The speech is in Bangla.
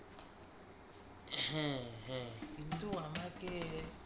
কিন্তু আমাকে